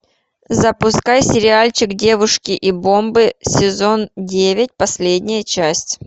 запускай сериальчик девушки и бомбы сезон девять последняя часть